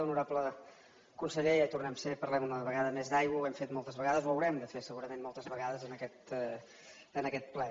honorable conseller ja hi tornem a ser parlem una vegada més d’aigua ho hem fet moltes vegades ho haurem de fer segurament moltes vegades en aquest ple